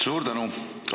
Suur tänu!